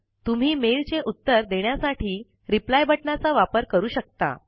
तुम्ही मेल चे उत्तर देण्यासाठी रिप्लाय बटनाचा वापर करू शकता